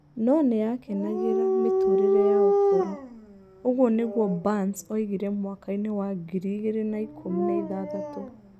No nĩ aakenagĩra "mĩtũũrĩre ya ũkũrũ", ũguo nĩguo Barns oigire mwaka-inĩ wa ngiri igĩrĩ na ikũmi na ithathatũ.